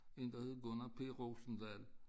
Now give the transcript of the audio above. En der hed Gunnar P Rosendal